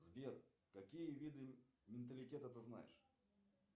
сбер какие виды менталитета ты знаешь